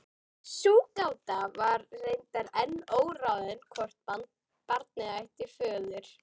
Sú gáta var reyndar enn óráðin hvort barnið ætti föður.